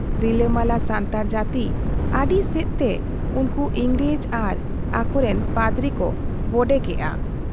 ᱨᱤᱞᱟᱹᱢᱟᱞᱟ ᱥᱟᱱᱛᱟᱲ ᱡᱟᱹᱛᱤ ᱟᱹᱰᱤᱥᱮᱫ ᱛᱮ ᱩᱱᱠᱩ ᱤᱝᱨᱮᱡᱽ ᱟᱨ ᱟᱠᱚᱨᱤᱱ ᱯᱟᱫᱽᱨᱤ ᱠᱚ ᱵᱚᱰᱮ ᱠᱮᱜ ᱟ ᱾